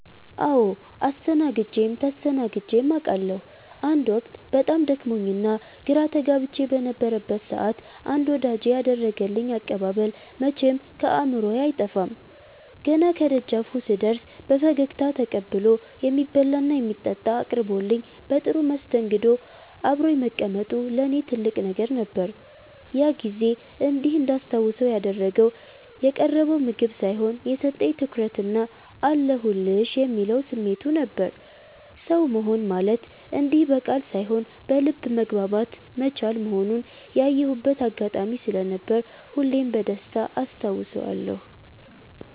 አዎ አስተናግጀም ተስተናግጀም አቃለሁ። አንድ ወቅት በጣም ደክሞኝና ግራ ተጋብቼ በነበረበት ሰዓት አንድ ወዳጄ ያደረገልኝ አቀባበል መቼም ከአእምሮዬ አይጠፋም። ገና ከደጃፉ ስደርስ በፈገግታ ተቀብሎ፣ የሚበላና የሚጠጣ አቅርቦልኝ በጥሩ መስተንግዶ አብሮኝ መቀመጡ ለእኔ ትልቅ ነገር ነበር። ያ ጊዜ እንዲህ እንዳስታውሰው ያደረገው የቀረበው ምግብ ሳይሆን፣ የሰጠኝ ትኩረትና "አለሁልሽ" የሚለው ስሜቱ ነበር። ሰው መሆን ማለት እንዲህ በቃል ሳይሆን በልብ መግባባት መቻል መሆኑን ያየሁበት አጋጣሚ ስለነበር ሁሌም በደስታ አስታውሰዋለሁ።